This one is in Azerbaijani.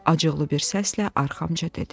Acıqlı bir səslə arxamca dedi: